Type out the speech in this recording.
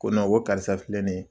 Ko ko karisa filɛ nin ye.